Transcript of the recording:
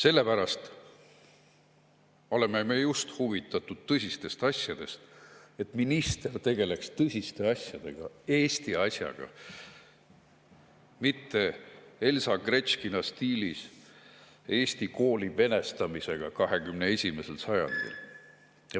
Meie oleme huvitatud just tõsistest asjadest, sellest, et minister tegeleks tõsiste asjadega, Eesti asjaga, mitte Elsa Gretškina stiilis Eesti kooli venestamisega 21. sajandil.